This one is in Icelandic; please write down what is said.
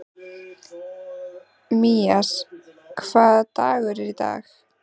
Mías, hvaða dagur er í dag?